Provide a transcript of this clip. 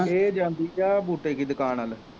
ਇਹ ਜਾਂਦੀ ਆ ਬੂਟੇ ਕੀ ਦੁਕਾਨ ਵੱਲ